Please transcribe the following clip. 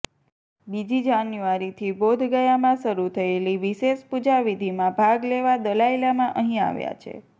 બીજી જાન્યુઆરીથી બોધગયામાં શરૂ થયેલી વિશેષ પૂજા વિધિમાં ભાગ લેવા દલાઇ લામા અહી આવ્યા છે